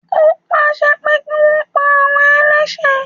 Ó pàṣẹ pé kí wọn pa àwọn ẹlẹ́sẹ̀